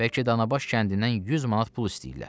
Bəlkə danabaş kəndindən 100 manat pul istəyirlər.